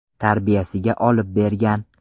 tarbiyasiga olib bergan.